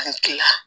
An kila